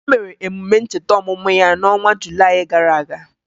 O mere emume ncheta ọmụmụ ya n'ọnwa Julayị gara aga